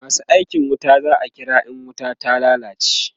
masu aikin wuta za'a kira in wuta ta lallace